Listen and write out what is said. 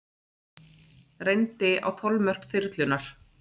Reyndi á þolmörk þyrlunnar